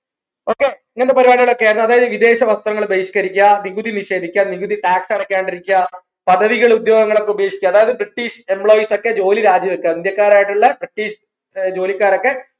ഇങ്ങനത്തെ പരിപാടികളൊക്കെ ആയിരുന്നു അതായത് വിദേശ വസ്ത്രങ്ങൾ ബഹിഷ്കരിക്കുക നികുതി നിഷേധിക്ക നികുതി tax അടക്കാണ്ടിരിക്ക പദവികൾ ഉദ്യോഗങ്ങൾ ഒക്കെ ഉപേക്ഷിക്കുക അതായത് british employees ഒക്കെ ജോലി രാജിവെക്കാ ഇന്ത്യക്കാരായിട്ടുള്ള British ഏർ ജോലിക്കാരൊക്കെ